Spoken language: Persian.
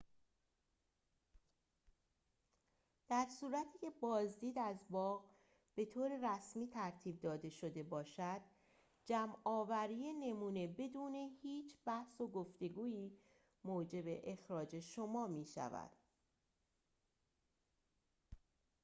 در صورتی که بازدید از باغ به طور رسمی ترتیب داده شده باشد جمع‌آوری نمونه بدون هیچ بحث و گفتگویی موجب اخراج شما می‌شود